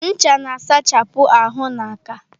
Ncha na-asachapụ ahụ na aka.